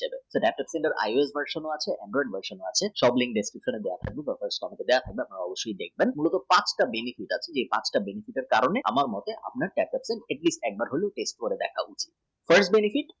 যার IEversion ও আছে সব link description box এ আছে অবশ্যয়ী দেখবেন এটার পাঁচটা benefit আছে এই পাঁচটি benefit এর কারণে আমার মতে আপনার সবাই একবার করে test করা উচিত।